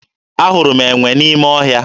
Ahụrụ m enwe n'ime ọhịa